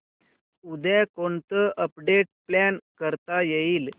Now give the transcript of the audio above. उद्या कोणतं update plan करता येईल